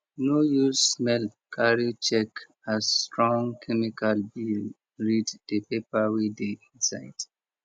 no use smell carry check as strong chemical be read the paper wey dey inside